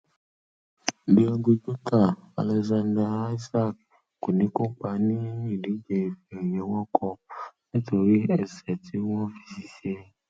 diego jota alexander isak kò ní kópa ní ìdíje ife ẹyẹ world cup nítorí ẹṣẹ tí wọn fi ṣèṣe